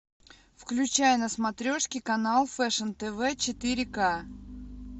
включай на смотрешке канал фэшн тв четыре к